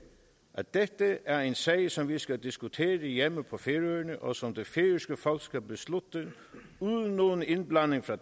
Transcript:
at dette er en sag som vi skal diskutere hjemme på færøerne og som det færøske folk skal beslutte uden nogen indblanding fra